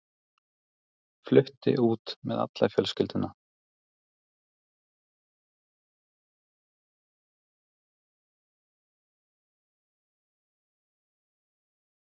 Flutti út með alla fjölskylduna.